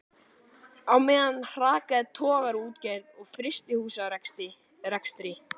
Á meðan hrakaði togaraútgerð og frystihúsarekstri.